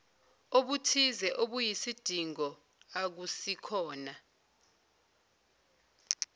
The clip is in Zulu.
obuthize obuyisidingo akusikhona